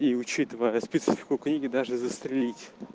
и учитывая специфику книги даже застрелить